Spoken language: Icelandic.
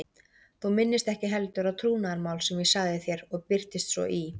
Þú minnist ekki heldur á trúnaðarmál sem ég sagði þér og birtist svo í